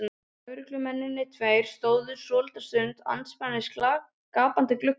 Lögreglumennirnir tveir stóðu svolitla stund andspænis gapandi gluggaopunum.